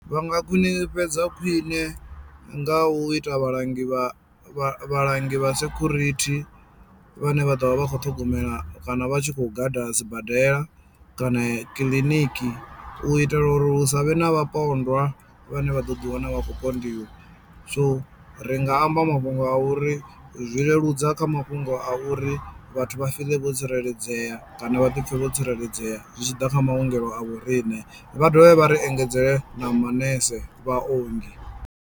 Vha nga khwiṋifhadza khwiṋe nga u ita vhalangi vha vhalangi vha sekhurithi vhane vha ḓovha vha kho ṱhogomela kana vha tshi khou gada sibadela kana kiḽiniki u itela uri hu savhe na vhapondwa vhane vha ḓo ḓi wana vha khou so ri nga amba mafhungo a uri zwi leludza kha mafhungo a uri vhathu vha fiḽe vho tsireledzea kana vha ḓi pfhe vho tsireledzea zwitshiḓa kha maongelo a vho riṋe vha dovhe vha ri engedzele na manese, vhaongi.